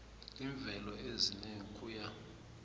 iimveke ezine ukuya